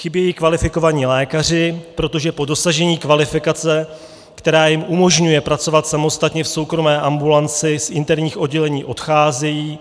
Chybějí kvalifikovaní lékaři, protože po dosažení kvalifikace, která jim umožňuje pracovat samostatně v soukromé ambulanci, z interních oddělení odcházejí